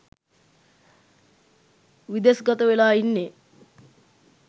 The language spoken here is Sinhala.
විදෙස්ගත වෙලා ඉන්නේ.